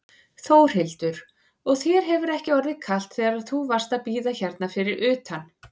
Þórhildur: Og þér hefur ekki orðið kalt þegar þú varst að bíða hérna fyrir utan?